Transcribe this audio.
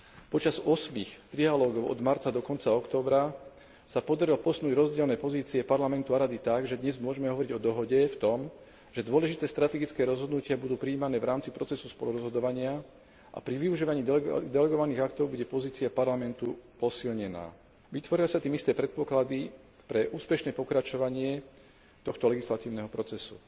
Počas ôsmich trialógov od marca do konca októbra sa podarilo posunúť rozdielne pozície Parlamentu a Rady tak, že dnes môžeme hovoriť o dohode v tom, že dôležité strategické rozhodnutia budú prijímané v rámci procesu spolurozhodovania a pri využívaní delegovaných aktov bude pozícia Parlamentu posilnená. Vytvoria sa tým isté predpoklady pre úspešné pokračovanie tohto legislatívneho procesu.